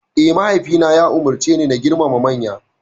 Hakane, mahaifina ya umarceni na girmama manya.